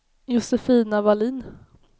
Josefina Wallin